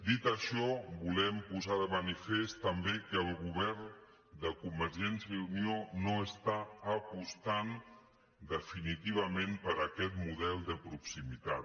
dit això volem posar de manifest també que el govern de convergència i unió no està apostant definitivament per aquest model de proximitat